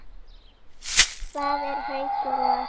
Hvað eru Haukur og